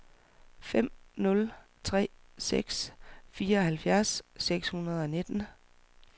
fem nul tre seks fireoghalvfjerds seks hundrede og nitten